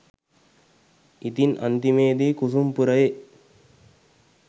ඉතින් අන්තිමේදි කුසුම් පුරයේ